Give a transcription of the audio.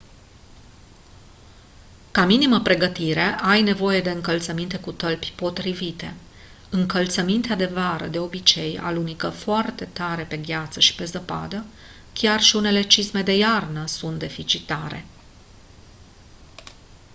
ca minimă pregătire ai nevoie de încălțăminte cu tălpi potrivite încălțămintea de vară de obicei alunecă foarte tare pe gheață și pe zăpadă chiar și unele cizme de iarnă sunt deficitare